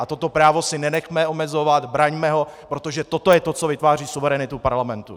A toto právo si nenechme omezovat, braňme ho, protože toto je to, co vytváří suverenitu parlamentu.